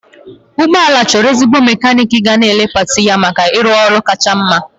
Ụgbọ ala chọrọ ezigbo mekaniiki ga-elee pati ya maka ịrụ ọrụ kacha mma.